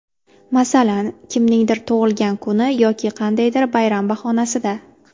Masalan, kimningdir tug‘ilgan kuni yoki qandaydir bayram bahonasida.